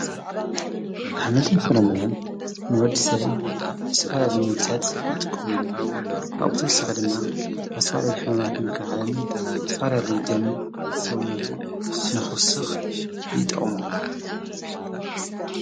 ኣኅመልተን ፍረምነን ንወድሰል ዝስፋላል ሙብታት ይጥቆምሎ ኣብተውሰኸ ድማ ኣሠዋልሊ ሕመማት ምከሃለን ትፋላልይ ደም ሰውነቱ ነኹስኽ ይጠቅም።